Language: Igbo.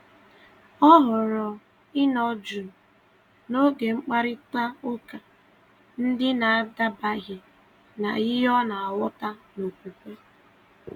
Ọ họrọ̀ ịnọ jụụ n’oge mkparịta ụka ndị na-adabaghị na ihe ọ na-aghọta n’okwukwe.